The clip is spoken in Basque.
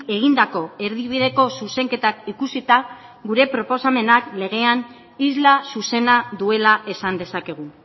egindako erdibideko zuzenketak ikusita gure proposamenak legean isla zuzena duela esan dezakegu